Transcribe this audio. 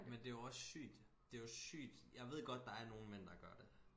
Men det jo også sygt det jo sygt jeg ved godt der er nogen mænd der gør det